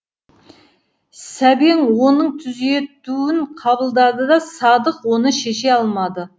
сәбең оның түзетуін қабылдады да садық оны шеше алмады